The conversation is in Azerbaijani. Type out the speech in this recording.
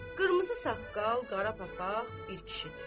Qırmızı saqqal, qara papaq bir kişidir.